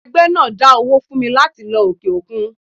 ẹgbẹ dá owó fún mí latí lọ ọke-okún